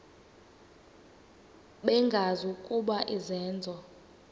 bengazi ukuba izenzo